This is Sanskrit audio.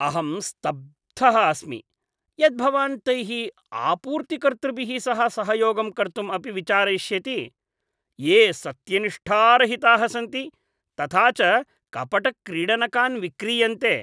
अहं स्तब्धः अस्मि यत् भवान् तैः आपूर्तिकर्तृभिः सह सहयोगं कर्तुम् अपि विचारयिष्यति, ये सत्यनिष्ठारहिताः सन्ति तथा च कपटक्रीडनकान् विक्रीयन्ते।